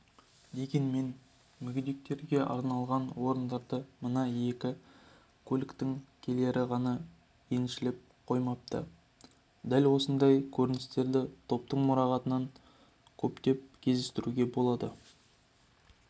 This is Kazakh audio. дегенмен мүгедектерге арналған орындарды мына екі көліктің иелері ғана еншілеп қоймапты дәл осындай көріністерді топтың мұрағатынан көптеп кездестіруге болады